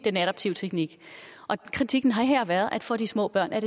adaptive teknik kritikken har her været at for de små børn er